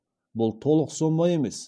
бұл толық сома емес